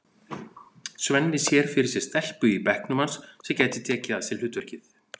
Svenni sér fyrir sér stelpu í bekknum hans sem gæti tekið að sér hlutverkið.